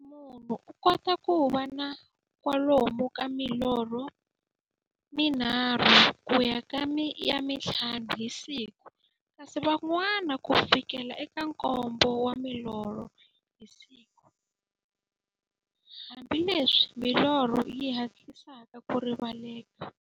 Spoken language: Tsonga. Munhu u kota ku va na kwalomu ka milorho mi nharhu ku ya ka ya nthlanu hi siku, kasi van'wana ku fikela eka nkombo wa milorho hi siku, hambileswi milorho yi hatlisaka ku rivaleka.